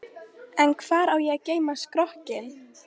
Þú ert ekki sérlega vinsamleg, verð ég að segja.